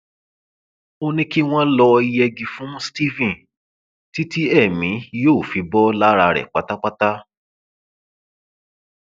ó ní kí wọn lọọ yẹgi fún stephen títí èmi yóò fi bọ lára rẹ pátápátá